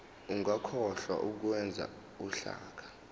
ungakhohlwa ukwenza uhlaka